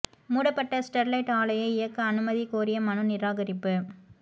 மூடப்பட்ட ஸ்டொ்லைட் ஆலையை இயக்க அனுமதி கோரிய மனு நிராகரிப்பு